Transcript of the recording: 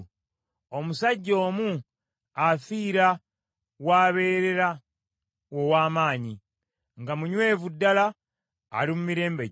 Omusajja omu afiira w’abeerera ow’amaanyi, nga munywevu ddala ali mu mirembe gye,